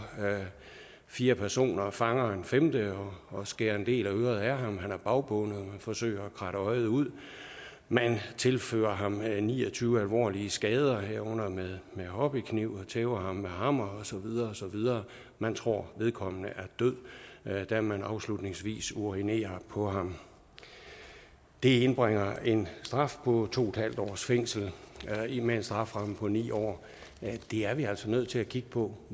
fire personer fanger en femte og og skærer en del af øret af ham han er bagbundet man forsøger at kratte hans øje ud man tilføjer ham ni og tyve alvorlige skader herunder med med hobbykniv og tæver ham med hammer og så videre man tror vedkommende er død da man afslutningsvis urinerer på ham det indbringer en straf på to en halv års fængsel med en strafferamme på ni år det er vi altså nødt til at kigge på